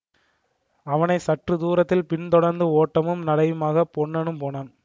அவனை சற்று தூரத்தில் பின் தொடர்ந்து ஓட்டமும் நடையுமாகப் பொன்னனும் போனான்